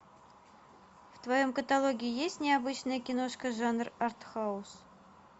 в твоем каталоге есть необычная киношка жанр артхаус